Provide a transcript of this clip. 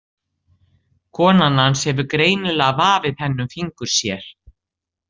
Konan hans hefur greinilega vafið henni um fingur sér.